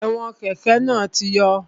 Ẹ̀wọn kẹ́kẹ̀ náà ti yọ